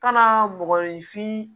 Ka na mɔgɔninfin